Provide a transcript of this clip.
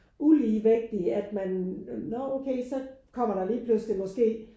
Ulige vægt i at man når okay så kommer der lige pludselig måske